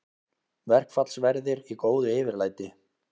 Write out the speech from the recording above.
Verkfallsverðir í góðu yfirlæti